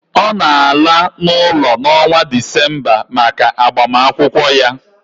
Ọ na-ala n'ụlọ n'ọnwa Disemba maka agbamakwụkwọ ya